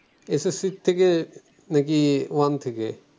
S S C থেকে নাকি one থেকে?